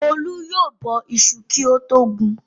Olú yóò bọ iṣu kí ó tó gun.